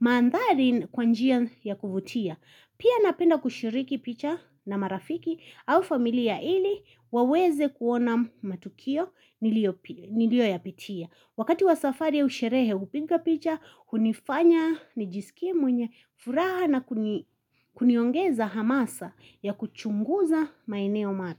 mandhali kwanjia ya kuvutia. Pia napenda kushiriki picha na marafiki au familia ili waweze kuona matukio niliyo ya pitia. Wakati wa safari au sherehe hupiga picha, hunifanya, nijiskie mwenye, furaha na kuniongeza hamasa ya kuchunguza maeneo ma.